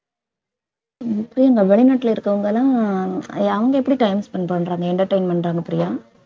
உம் பிரியங்கா வெளிநாட்டுல இருக்கவங்கலாம் அவங்க எப்படி time spend பண்றாங்க entertainment பண்றாங்க பிரியா